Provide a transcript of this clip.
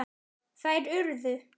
Þær urðu